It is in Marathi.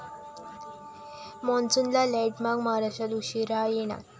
मान्सूनला लेटमार्क, महाराष्ट्रात उशिरा येणार!